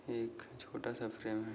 एक छोटा सा फ्रेम है।